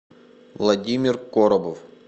владимир коробов